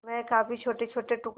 वह काफी छोटेछोटे टुकड़े